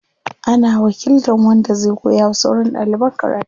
Ana wakiltan wanda zai koya wa sauran ɗaliban karatu.